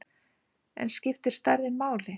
En skiptir stærðin máli?